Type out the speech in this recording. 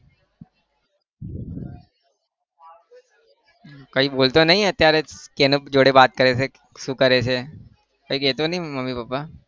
કઈ બોલતો નહિ અત્યારે કોની જોડે વાત કરે છે શું કરે છે કઈ કેહતા નહિ મમ્મી પાપ્પા.